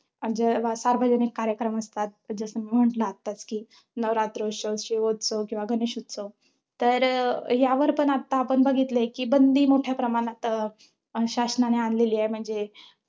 जेव्हा सार्वजनिक कार्यक्रम असतात, जसं म्हंटल मी आत्ताच कि, नवरात्रोत्सव किंवा शिवोत्त्सव, किंवा गणेशोत्सव. तर यावर पण आता आपण बघितलंय कि बंदी मोठ्या प्रमाणात अं शासनाने आणलेली आहे, म्हणजे